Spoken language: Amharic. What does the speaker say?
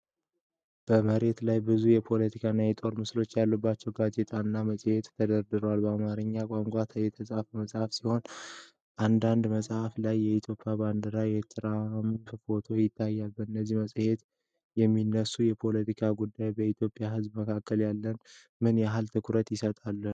በመሬት ላይ ብዙ የፖለቲካና የጦርነት ምስሎች ያሉባቸው ጋዜጦችና መጽሔቶች ተደርድረዋል። በአማርኛ ቋንቋ የተጻፉ ጽሑፎች ሲኖሩ፣ አንዳንድ መጽሔቶች ላይ የኢትዮጵያ ባንዲራና የትራምፕ ፎቶ ይታያል። በእነዚህ መጽሔቶች የሚነሱ የፖለቲካ ጉዳዮች በኢትዮጵያ ህዝብ መካከል ምን ያህል ትኩረት ይሰጣቸዋል?